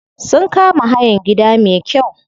Sun kama hayan gida me kyau.